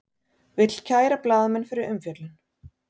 Vill kæra blaðamenn fyrir umfjöllun